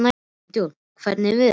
Leonhard, hvernig er veðurspáin?